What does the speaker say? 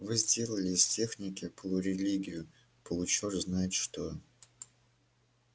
вы сделали из техники полурелигию получёрт знает что